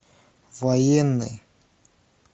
военный